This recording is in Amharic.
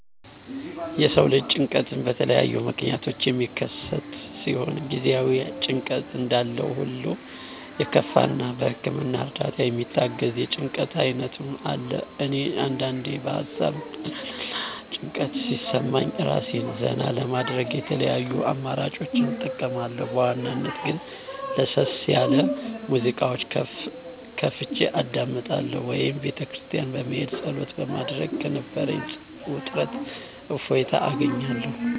የሰው ልጅ ጭንቀት በተለያዩ ምክንያቶች የሚከሰት ሲሆን ጊዜአዊ ጭንቀት እንዳለሁሉ የከፋ እና በህክምና እርዳታ የሚታገዝ የጭንቀት አይነትም አለ። እኔ አንዳንዴ በሀሳብ ውጥረት እና ጭንቀት ሲሰማኝ እራሴን ዘና ለማድረግ የተለያዩ አማራጮችን እጠቀማለሁ በዋናነት ግን ለሰስ ያለ ሙዚቃ ከፍቸ አዳምጣለሁ ወይም ቤተክርስቲያን በመሄድ ፀሎት በማድረግ ከነበረኝ ውጥረት እፎይታ አገኛለሁ።